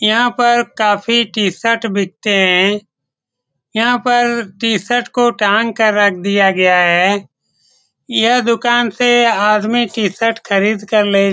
यहाँ पर काफी टी-शर्ट बिकते हैं यहाँ पर टी-शर्ट को टांग कर रख दिया है यह दूकान से आदमी टी-शर्ट खरीद के ले --